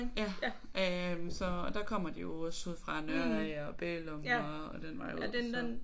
Ja øh så og der kommer de jo også ude fra Nørre af og Bælum og den vej ud også så